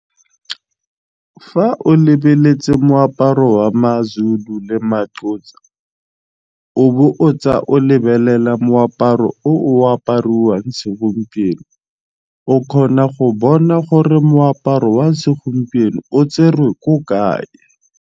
Fa o lebeletse moaparo wa maZulu le maXhosa o bo o tsa o lebelela moaparo o o apariwang segompieno o kgona go bona gore moaparo wa segompieno o tserwe ko kae.